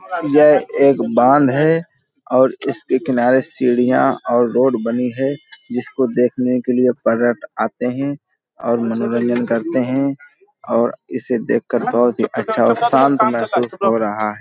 यह एक बांध है और इसके किनारे सीढ़ियां और रोड बनी है जिसको देखने के लिए पर्यट आते हैं और मनोरंजंन करते हैं और इसे देखकर बहुत ही अच्छा और शांत महसूस हो रहा है --